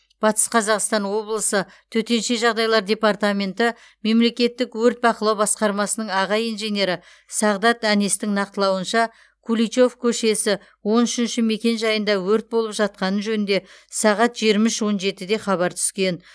батыс қазақстан облысы төтенше жағдайлар департаменті мемлекеттік өрт бақылау басқармасының аға инженері сағдат әнестің нақтылауынша куличев көшесі он үшінші мекенжайында өрт болып жатқаны жөнінде сағат жиырма үш он жетіде хабар түскен